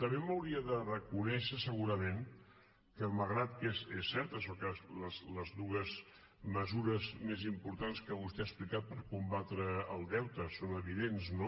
també m’hauria de reconèixer segurament que malgrat que és cert això que les dues mesures més importants que vostè ha explicat per combatre el deute són evidents no